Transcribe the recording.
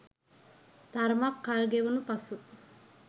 තරමක් කල් ගෙවුණු පසු